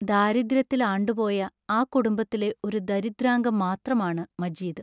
ദാരിദ്ര്യത്തിൽ ആണ്ടുപോയ ആ കുടുംബത്തിലെ ഒരു ദരിദ്രാംഗം മാത്രമാണ് മജീദ്